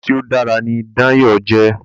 Bàbá tí o dára ní Dàn yóò jé.